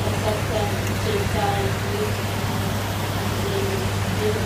kasarta che tae biik lelutiet